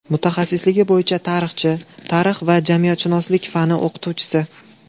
Mutaxassisligi bo‘yicha tarixchi, tarix va jamiyatshunoslik fani o‘qituvchisi.